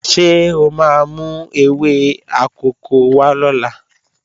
Ṣé o máa mú ewé akòko wá lọ́la?